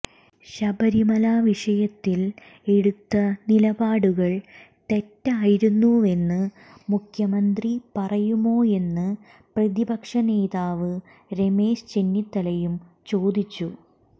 ശബരിമല വിഷയത്തിൽ എടുത്ത നിലപാടുകൾ തെറ്റായിരുന്നുവെന്ന് മുഖ്യമന്ത്രി പറയുമോയെന്ന് പ്രതിപക്ഷനേതാവ് രമേശ് ചെന്നിത്തലയും ചോദിച്ചു